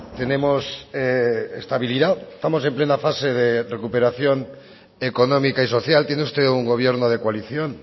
tenemos estabilidad estamos en plena fase de recuperación económica y social tiene usted un gobierno de coalición